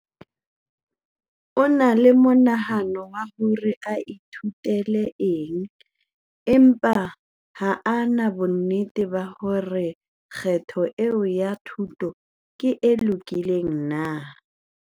O na le monahano wa hore a ithutele eng empa ha a na bonnete ba hore na kgetho eo ya thuto ke e lokileng na.